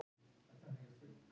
Eldur í gróðurhúsi